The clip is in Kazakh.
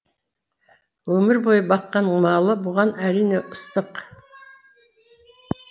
өмір бойы баққан малы бұған әрине ыстық